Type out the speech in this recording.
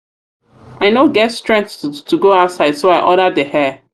i no get strength to go outside so i order the hair.